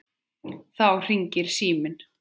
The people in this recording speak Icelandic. Þá hringir síminn.